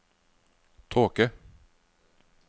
tåke